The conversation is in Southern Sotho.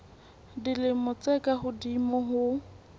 dilemo tse ka hodimo ho